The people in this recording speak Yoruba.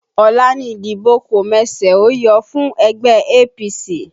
Ọ̀la ni ìdìbò kọ̀mẹsẹ̀-óyọ fún ẹgbẹ́ APC